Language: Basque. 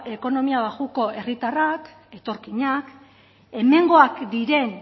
ekonomia baxuko herritarrak etorkinak hemengoak diren